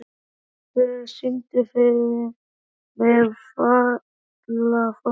Gvendur, syngdu fyrir mig „Fatlafól“.